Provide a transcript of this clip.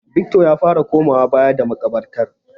Victor ya fara komawa baya da maƙabartar.